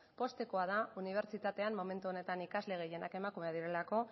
poztekoa da unibertsitatean momentu honetan ikasle gehienak emakumeak direlako